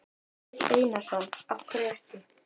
Egill Einarsson: Af hverju ekki?